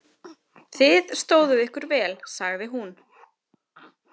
Þið stóðuð ykkur vel, sagði hún.